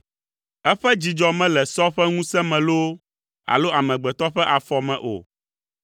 Eƒe dzidzɔ mele sɔ ƒe ŋusẽ me loo, alo amegbetɔ ƒe afɔ me o;